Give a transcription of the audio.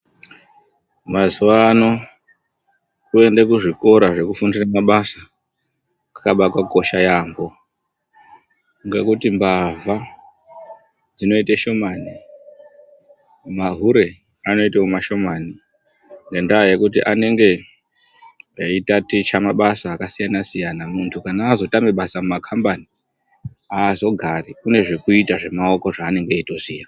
Mazuwa ano kuende kuzvikora zvekufundire mabasa kwakaba kwakosha yaambo, ngekuti mbavha dzinoite shomani; mahure anoitawo mashomani, nendaa yekuti anenge eitaticha mabasa akasiyana siyana. Muntu kana azotame basa mumakhambani aazogari, une zvekuita zvemaoko zveanenge eitoziya.